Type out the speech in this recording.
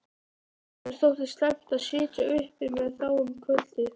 Okkur þótti slæmt að sitja uppi með þá um kvöldið.